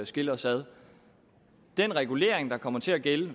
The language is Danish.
skille os ad den regulering der kommer til at gælde